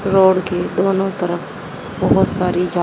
road के दोनों तरफ बहोत सारी--